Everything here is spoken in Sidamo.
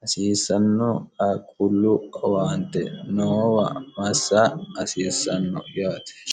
hasiissanno qaqullu owaante noowa massa hasiissanno yaate